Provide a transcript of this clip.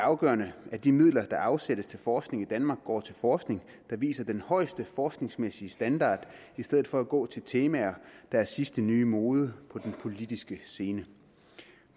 afgørende at de midler der afsættes til forskning i danmark går til forskning der viser den højeste forskningsmæssige standard i stedet for at gå til temaer der er sidste nye mode på den politiske scene